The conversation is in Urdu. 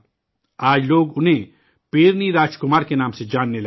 آج، لوگ انہیں پیرنی راج کمار کے نام سے جاننے لگے ہیں